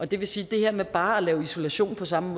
det vil sige at det her med bare at lave isolation på samme